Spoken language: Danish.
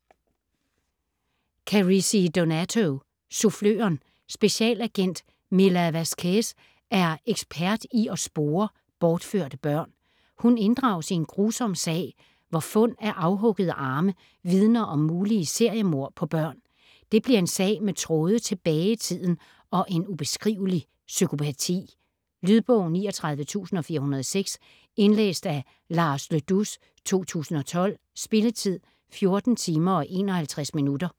Carrisi, Donato: Suffløren Specialagent Mila Vasquez er ekspert i at spore bortførte børn. Hun inddrages i en grusom sag, hvor fund af afhuggede arme vidner om mulige seriemord på børn. Det bliver en sag med tråde tilbage i tiden og en ubeskrivelig psykopati. Lydbog 39406 Indlæst af Lars Le Dous, 2012. Spilletid: 14 timer, 51 minutter.